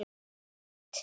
Grænt og þröngt.